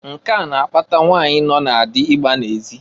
Nke a na-akpata nwanyị nọ na dị ịgba n'ezị.